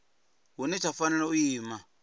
hune tsha fanela u ima